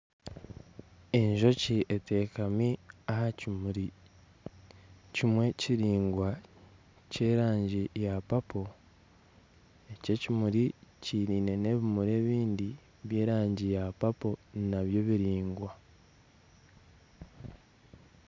Enjoki eteekami aha kimuri kimwe kiraingwa kimwe kiraingwa kyerangi ya papo eki ekimuri kiine n'ebimuri ebindi eby'erangi ya papo nabyo biraingwa